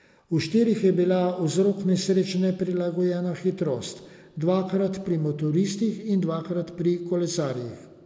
V štirih je bila vzrok nesreč neprilagojena hitrost, dvakrat pri motoristih in dvakrat pri kolesarjih.